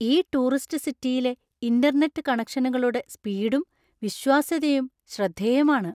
ഈ ടൂറിസ്റ്റ് സിറ്റിയിലെ ഇന്റർനെറ്റ് കണക്ഷനുകളുടെ സ്പീഡും, വിശ്വാസ്യതയും ശ്രദ്ധേയമാണ്.